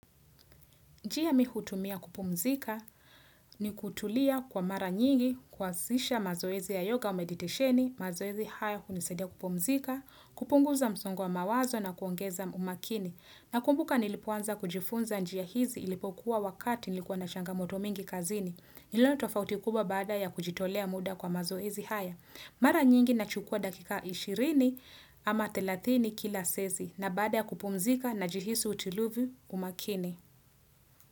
Njia mimi hutumia kupumzika ni kutulia kwa mara nyingi kwanzisha mazoezi ya yoga umeditisheni, mazoezi haya kunisadia kupumzika, kupunguza msongo mawazo na kuongeza umakini. Nakumbuka nilipoanza kujifunza njia hizi ilipokuwa wakati nilikuwa na changamoto mingi kazini. Nilono tofautikuba baada ya kujitolea muda kwa mazoezi haya. Mara nyingi na chukua dakika 20 ama 30 kila sesi na baada ya kupumzika na jihisu utiluvu umakini.